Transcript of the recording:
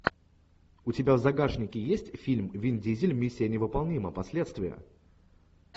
у тебя в загашнике есть фильм вин дизель миссия невыполнима последствия